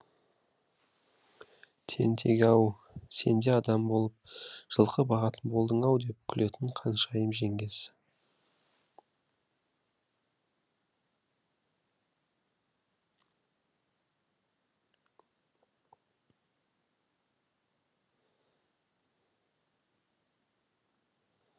тентек ау сен де адам болып жылқы бағатын болдың ау деп күлетін қаншайым жеңгесі